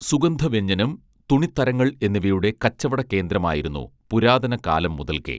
സുഗന്ധ വ്യഞ്ജനം തുണിത്തരങ്ങൾ എന്നിവയുടെ കച്ചവട കേന്ദ്രമായിരുന്നു പുരാതന കാലം മുതൽക്കേ